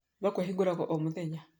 Thoko ĩhũraga o mũthenya